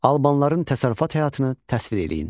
Albanların təsərrüfat həyatını təsvir eləyin.